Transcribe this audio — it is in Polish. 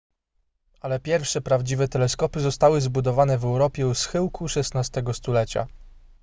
ale pierwsze prawdziwe teleskopy zostały zbudowane w europie u schyłku xvi stulecia